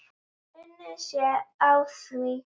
Unnið sé að því.